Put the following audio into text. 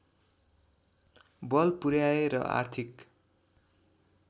बल पुर्‍याए र आर्थिक